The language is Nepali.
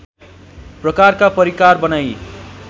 प्रकारका परिकार बनाई